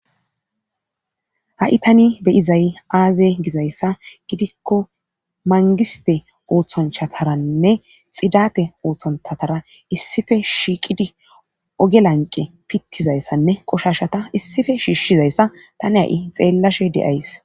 Ha'i tani beyizay aaze gizayssa gidikko mangiste ooththanchataranne xidate ooththontatara issife shiiqidi oge lanqe pittizayssanne qoshashata issife shiishshizayssa tani ha7i xeellashe de7ays